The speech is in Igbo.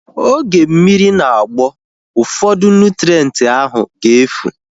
Oge mmiri na-agbọ, ụfọdụ nụtrenti ahu ga-efu